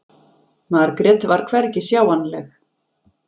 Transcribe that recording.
Margrét var hvergi sjáanleg.